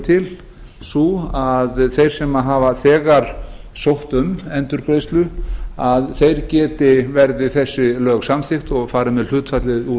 til sú að þeir sem hafa þegar sótt um endurgreiðslu að þeir geti verði þessi lög samþykkt og farið með hlutfallið úr